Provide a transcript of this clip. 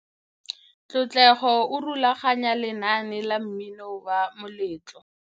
Tlotlego o rulaganya lenaane la mmino wa moletlo.